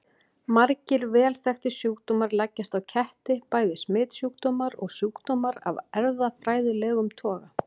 Margir vel þekktir sjúkdómar leggjast á ketti, bæði smitsjúkdómar og sjúkdómar af erfðafræðilegum toga.